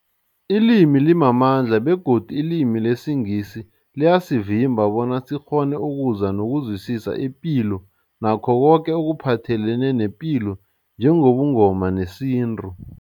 Ilimi limamandla begodu ilimi lesiNgisi liyasivimba bona sikghone ukuzwa nokuzwisisa ipilo nakho koke ekuphathelene nepilo njengobuNgoma nesintu.